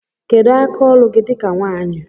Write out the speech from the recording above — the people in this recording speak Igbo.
Kedu aka ọlụ gi di ka nwanyi?